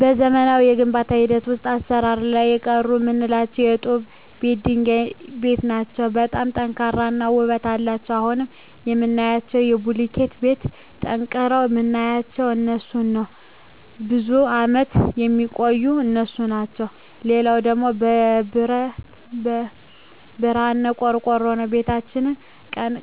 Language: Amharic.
በዘመናዊ የግንባታ ሂደት ውሰጥ አሰራር ላይ የቀሩ ምላቸው የጡብ ቤት የድንጋይ ቤት ናቸው በጣም ጠንካራ እና ውበት አለቸው አሁን ከምናያቸው ከቡልኪት ቤት ጠንቅረዉ ምናያቸው እነሡን ነው ብዙም አመት የሚቆዩ እነሡ ናቸው ሌላው ደግሞ የብረሀን ቆርቆሮ ነው ቤታችን ቀን